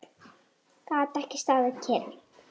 Gat ekki staðið kyrr.